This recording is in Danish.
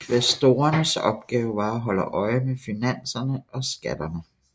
Kvæstorernes opgave var at holde øje med finanserne og skatterne